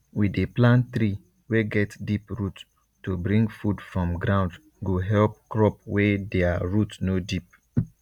we dey plant tree wey get deep root to bring food from ground go help crop wey dia root no deep